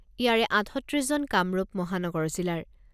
ইয়াৰে আঠত্ৰিছজন কামৰূপ মহানগৰ জিলাৰ।